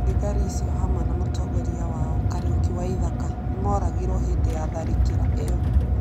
Thigari icio, hamwe na mũtongoria wao Kariuki Waithaka, nĩ moragirũo hĩndĩ ya tharĩkĩro ĩyo.